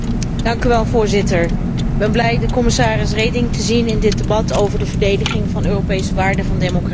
Voorzitter, ik ben blij commissaris Reding te zien in dit debat over de verdediging van de Europese waarden van democratie.